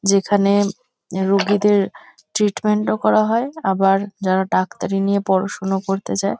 যেখানে রুগীদের ট্রিটমেন্ট -ও করা হয় আবার যারা ডাক্তারি নিয়ে পড়াশুনো করতে যায় --